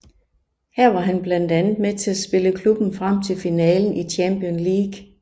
Her var han blandt andet med til at spille klubben frem til finalen i Champions League